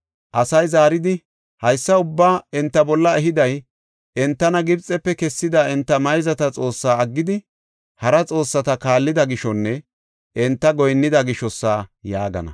Asay zaaridi, “Haysa ubbaa enta bolla ehiday, entana Gibxefe kessida enta mayzata Xoossaa aggidi hara xoossata kaallida gishonne enta goyinnida gishosa” yaagana.